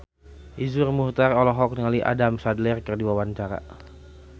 Iszur Muchtar olohok ningali Adam Sandler keur diwawancara